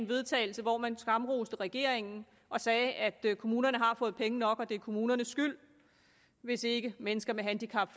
vedtagelse hvor man skamroste regeringen og sagde at kommunerne har fået penge nok og det er kommunernes skyld hvis ikke mennesker med handicap